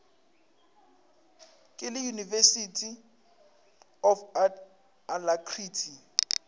ke le university of alacrity